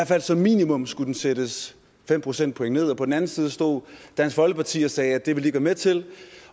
fald som minimum skulle sættes fem procentpoint ned og på den anden side stod dansk folkeparti og sagde at det ville de med til